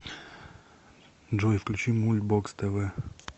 джой включи мульт бокс тэ вэ